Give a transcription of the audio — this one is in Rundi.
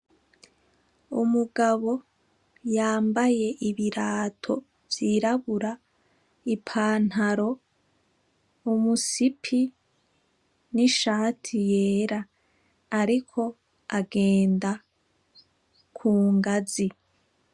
Umugabo yambaye ibirato vy’irabura, ipantaro, umusipi n’ishati yera ariko agenda kungazi.